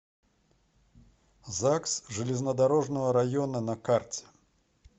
загс железнодорожного района на карте